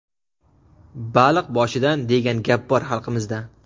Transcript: "Baliq boshidan" degan gap bor xalqimizda.